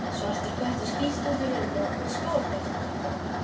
Svartur köttur skýst út úr runna með skógarþröst í kjaftinum.